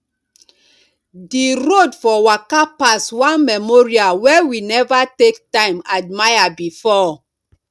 di road for waka pass one memorial wey we never take time admire before